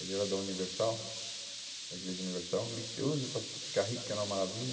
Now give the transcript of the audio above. Ele era da Universal, da Igreja Universal, ambicioso para fi ficar rico, que era uma maravilha.